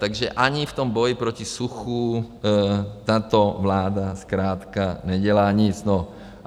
Takže ani v tom boji proti suchu tato vláda zkrátka nedělá nic.